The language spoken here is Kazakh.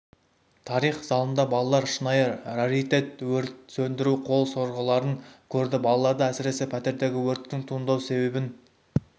тарих залында балалар шынайы раритет өрт сөндіру қол сорғыларын көрді балаларды әсіресе пәтердегі өрттің туындау себебін